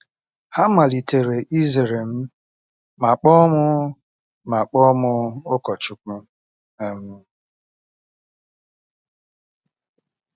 Ha malitere ịzere m ma kpọọ m ma kpọọ m ụkọchukwu um.